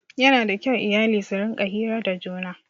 Yana da kyau iyali su rinƙa hira da juna.